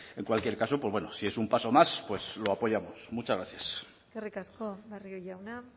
en cualquier caso pues bueno si es un paso más pues lo apoyamos muchas gracias eskerrik asko barrio jauna